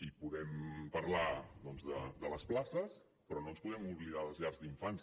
i podem parlar doncs de les places però no ens podem oblidar de les llars d’infants